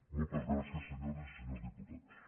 moltes gràcies senyores i senyors diputats